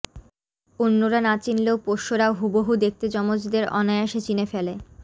অন্য়রা না চিনলেও পোষ্য়রাও হুবহু দেখতে যমজদের অনায়াসে চিনে ফেলে